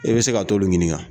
I be se ka t'olu ɲininka.